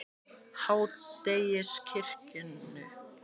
Háteigskirkju